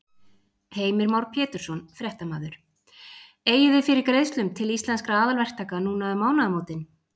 Heimir Már Pétursson, fréttamaður: Eigið þið fyrir greiðslum til Íslenskra aðalverktaka núna um mánaðamótin?